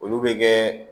Olu bɛ kɛ